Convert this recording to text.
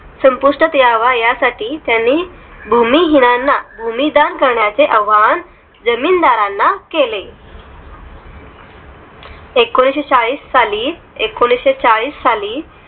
संपुष्टात यावा यासाठी त्यांनी भूमिहिनांना भूमी दान करण्याचे आव्हान जमीनदारांना केले एकोणीशेचाळीस साली एकोणीशेचाळीस साली